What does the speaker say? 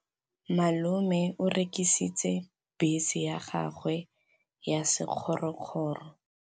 Malome o rekisitse bese ya gagwe ya sekgorokgoro.